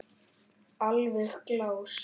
Alveg glás.